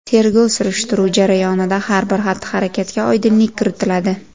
Tergov-surishtiruv jarayonida har bir xatti-harakatga oydinlik kiritiladi.